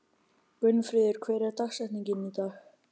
Gunnfríður, hver er dagsetningin í dag?